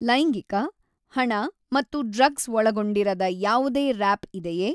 ಲೈಂಗಿಕ ಹಣ ಮತ್ತು ಡ್ರಗ್ಸ್ ಒಳಗೊಂಡಿರದ ಯಾವುದೇ ರಾಪ್ ಇದೆಯೇ?